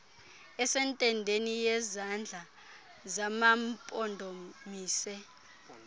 esentendeni yezandla zamampondomise